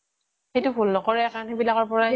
সেইটো ভুল নকৰে কাৰণ সেইবিলকৰ পৰাই